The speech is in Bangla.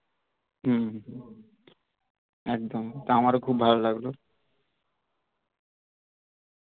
হম হম একদম তা আমার ও খুব ভালো লাগলো